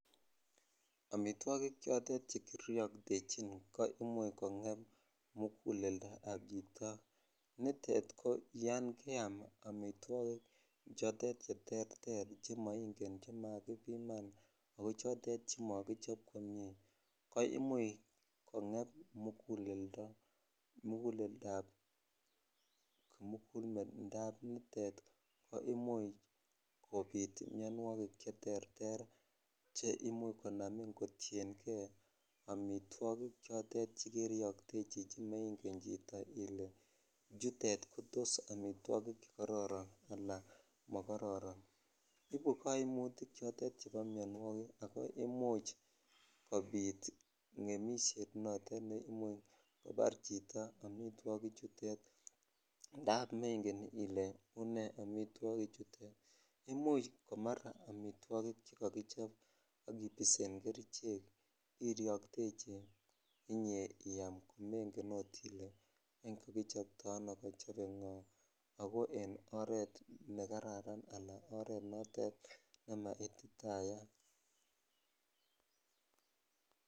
omitwogiik chotot chegiryoktechi koimuch kongeem muguleldo ab chito, niteet ko yann keyaam omitwogik cheterter chemoingen chemagibiman ak chotet chemokichob komyee ko imuch kongeem muguleldo ab nitet, koimuch kobiit myonwogik cheterter chimuch konamiin kotiyengee omitwogik chotet che keryoktechi chemengen chito ile chutet ko omitwogiik chegororon anan mogororon, ibu koimutik chotet chebo myonwogiik ago imuch kobiit ngemisyeet notote ne imuch kobaar chito omitwogik chuteet ndaab mengen ile unee omitwogik chuteet, imuuch koma omitwogik chegogichob ak kibiseen kerichek iroktechi inyee iyaam mengen oot ile kogichobtoo ano ago en oreet negararan anan en oreet notet naityagaat.